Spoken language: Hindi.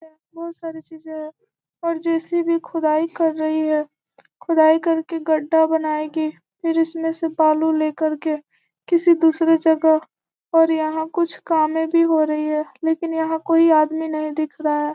बहुत सारी चीजें हैं और जे.सी.बी खोदाई कर रही है खोदाई कर के गड्ढा बनाएगी फिर इसमें से बालू लेकर के किसी दूसरे जगह और यहाँ कुछ कामें भी हो रही है लेकिन कोई आदमी नहीं दिख रहा --